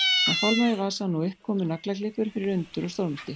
Hann fálmaði í vasann og upp komu naglaklippur fyrir undur og stórmerki.